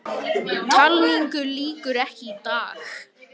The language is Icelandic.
Talningu lýkur ekki í dag